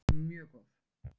Mjög góð!